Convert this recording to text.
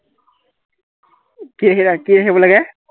কি ৰাখি কি ৰাখিব লাগে?